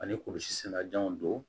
Ani kurusi sɛnɛjanw don